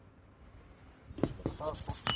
એ તો ખરું